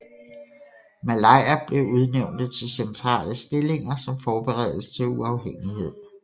Malayer blev udnævnte til centrale stillinger som forberedelse til uafhængighed